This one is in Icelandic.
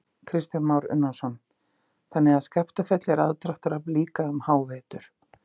Kristján Már Unnarsson: Þannig að Skaftafell er aðdráttarafl líka um hávetur?